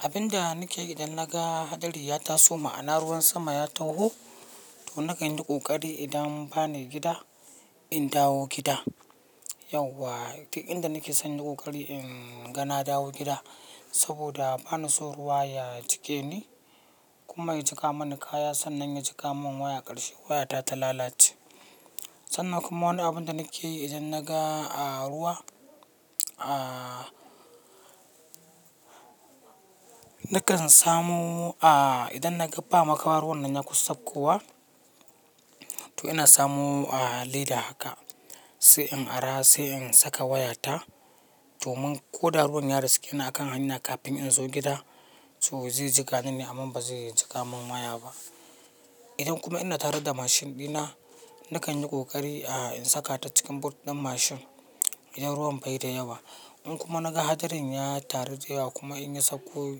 Abin da nake yi idan naga hadari ya taso, ma'ana ruwan sama ya taho, to nakan yi kokari idan ba ni gida, in dawo gida. Yauwa, tik inda nake son yin kokari in gana dawo gida. Saboda ba na so ruwa ya jike ni kuma ya jika mana kaya, sannan ya jika mun waya karshe, wayata ta lalace. Sannan kuma wani abin da nake yi idan naga a ruwa, aa, nakan samu aa, idan naga ba makamar ruwan nan ya kusa saukowa, to ina samu aa, leda haka sai in ara, sai in saka wayata domin ko da ruwan ya riske ni a kan hannuna kafin in zo gida, so zai jika ni ne amma ba zai jika mun waya ba. Idan kuma ina tare da mashin ɗina, nakan yi kokari aa, in saka ta cikin boot ɗin mashin idan ruwan bai da yawa. In kuma naga hadarin ya taru da yawa kuma in ya sauko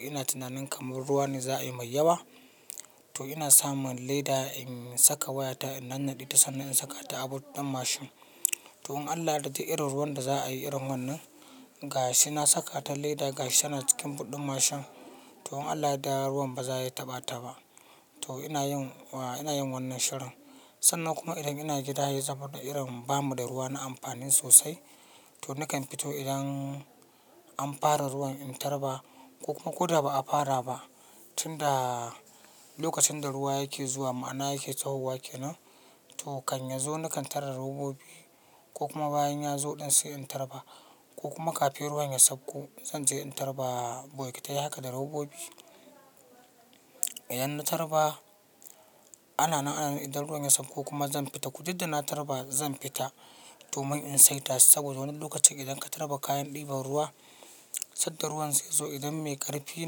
ina tunanin kamar ruwa ne za ayi mai yawa, to ina samun leda in saka wayata, in nannade ta sannan in saka ta a boot ɗin mashin. To in Allah ya dade irin ruwan da za a yi irin wannan, gashi na saka ta leda gashi tana cikin but ɗin mashin. To in Allah ya daa ruwan ba za a yi taɓa taɓa. To ina yin wa, ina yin wannan shirin. Sannan kuma idan ina gida yayi zafi da irin ba mu da ruwa na amfani sosai, to nakan fito idan an fara ruwan in tarba ko kuma ko da ba a fara ba. Tun da lokacin da ruwa yake zuwa ma'ana yake tahowa ke nan, to kan ya zo nakan tarar robobi ko kuma bayan ya zo ɗan sai in tarba ko kuma kafin ruwan ya sauko zan je in tarba bokitai haka da robobi. Idan na tarba, ana nan ana nan idan ruwan ya sauko kuma zan fita. Didda na tarba zan fita domin in saita. Saboda wani lokacin idan ka tarba kayan ɗiban ruwa, sanda ruwan zai zo idan mai ƙarfi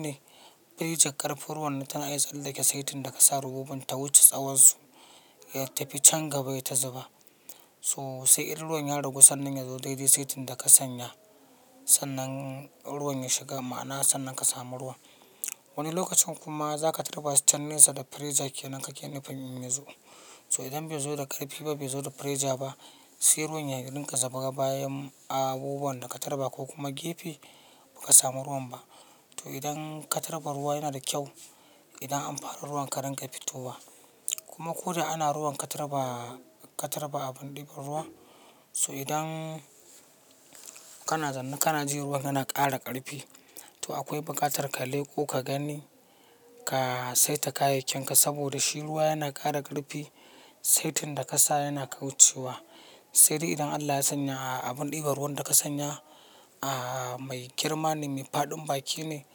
ne, bai ji ƙarfin ruwan na tana iya tsallake saitin da ka sa robobin ta wuce tsawonsu. Ya tafi can gaba yayi ta zuba. So sai irin ruwan ya ragu sannan ya zo dai dai saitin da ka sanya. Sannan ruwan ya shiga ma'ana sannan ka samu ruwa. Wani lokacin kuma za ka tarba sai can nesa da firija ke nan kake ne fin in ya zo. So idan bai zo da ƙarfi ba, bai zo da pressure ba, sai ruwan ya dinka safaga bayan abubuwan da ka tarba ko kuma gefe, ba ka samu ruwa ba. To idan ka tarba ruwa yana da kyau, idan an fara ruwan ka rinƙa fitowa. Kuma ko da ana ruwan ka tarba, ka tarba abun ɗiban ruwa, so idan kana zannu kana jin ruwan yana ƙara ƙarfi, to akwai bukatar ka leko ka gani, ka saita kayakin ka. Saboda shi ruwa yana ƙara ƙarfi, saitin da ka sa yana kaucewa. Sai dai idan Allah ya sanya aa, abun ɗiban ruwan da ka sanya aa, mai girma ne, mai faɗin baki ne,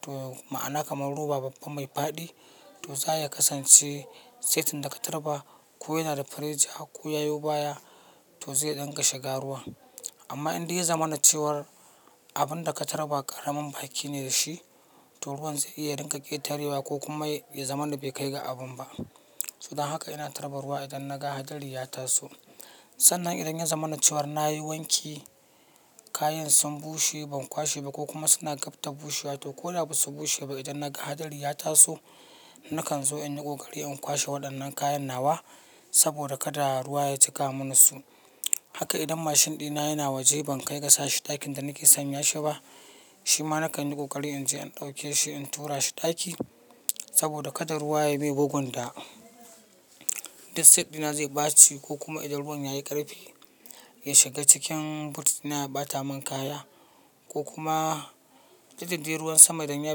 to ma'ana kamar ruwa babba mai faɗi, to za ya kasance saitin da ka tarba ko yana da firija ko ya yo baya to zai ɗan ka shiga ruwa. Amma in dai ya zama na cewar abin da ka tarba ƙaramin baki ne da shi, to ruwan zai iya dinka ƙetarewa ko kuma ya zama na bai kai ga abun ba. So dan haka ina tarba ruwa idan naga hadari ya taso. Sannan idan ya zama na cewar na yi wanki, kayan sun bushe ban kwashe ba ko kuma suna gab ta bushewa ko ko da ba su bushe ba, idan naga hadari ya taso, nakan zo in yi kokari in kwashe waɗannan kayan nawa saboda kada ruwa ya jika mun su. Haka idan mashin ɗina yana waje ban kai ga sashi ɗakin da nake sanya shi ba, shi ma nakan yi kokari in je in dauke shi in tura shi ɗaki saboda kada ruwa ya mai bugunda. Duk seat ɗina zai baci ko kuma idan ruwan yayi ƙarfi, ya shiga cikin but ɗina ya ɓata mun kaya ko kuma duk da dai ruwan sama idan ya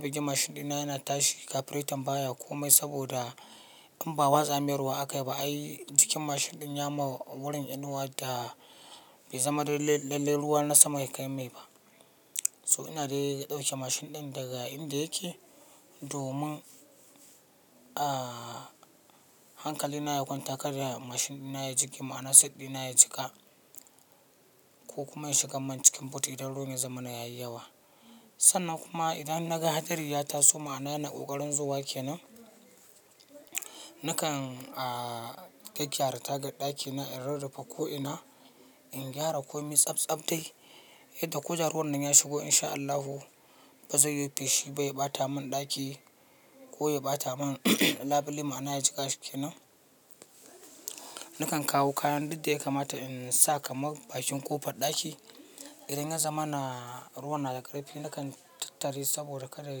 bigi mashin ɗina yana tashi kafiretan baya ko mai saboda in ba watsa mai ruwa aka yi ba ai jikin mashin ɗin ya ma wurin inuwa da bai zama lalle ruwa na sama ya kai mai ba. So ina dai ɗauke mashin ɗin daga inda yake domin aa, hankali na ya kwanta karya mashin ɗina ya jigge ma'ana seat ɗina ya jika ko kuma ya shiga man cikin but idan ruwan ya zama na yayi yawa. Sannan kuma idan naga hadari ya taso ma'ana yana ƙoƙarin zuwa ke nan, nakan aa, kai gyara ta ga ɗakina in rarrafa ko'ina, in gyara komai tsabtsab dai yadda ko da ruwan nan ya shigo in sha Allahu ba zai yi fushi ba ya ɓata mun ɗaki ko ya ɓata mun labule ma'ana ya jika shi ke nan. Nakan kawo kayan duk da ya kamata in sa kamar bakin ƙofar ɗaki. Idan ya zama na ruwa na da ƙarfi, nakan tattari saboda kada ya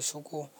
shigo.